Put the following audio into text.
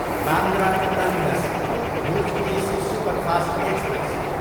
Bandra terminus, Bhuj AC superfast express